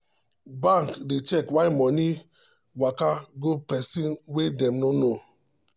bank dey check why money waka go person wey dem no know.